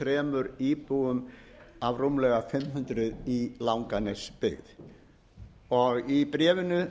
þrjú íbúum af rúmlega fimm hundruð í langanesbyggð í bréfinu